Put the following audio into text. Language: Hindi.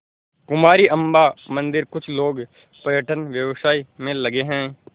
कुमारी अम्मा मंदिरकुछ लोग पर्यटन व्यवसाय में लगे हैं